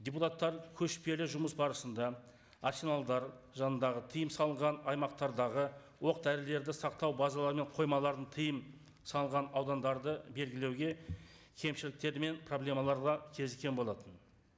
депутаттар көшпелі жұмыс барысында арсеналдар жанындағы тыйым салынған аймақтардағы оқ дәрілерді сақтау базалары мен қоймалардың тыйым салынған аудандарды белгілеуге кемшіліктер мен проблемалар да кезіккен болатын